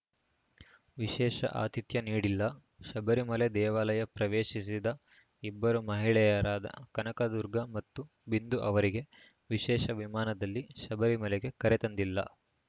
ವಿಶೇಷ ಆತಿಥ್ಯ ನೀಡಿಲ್ಲ ಶಬರಿಮಲೆ ದೇವಾಲಯ ಪ್ರವೇಶಿಸಿದ ಇಬ್ಬರು ಮಹಿಳೆಯರಾದ ಕನಕದುರ್ಗಾ ಮತ್ತು ಬಿಂದು ಅವರಿಗೆ ವಿಶೇಷ ವಿಮಾನದಲ್ಲಿ ಶಬರಿಮಲೆಗೆ ಕರೆತಂದಿಲ್ಲ